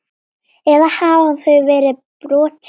Eða hafa þau verið brotin?